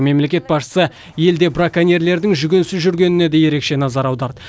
мемлекет басшысы елде браконьерлердің жүгенсіз жүргеніне де ерекше назар аударды